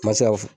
N ma se ka fɔ